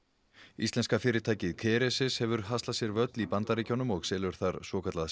íslenska fyrirtækið Kerecis hefur haslað sér völl í Bandaríkjunum og selur þar svokallað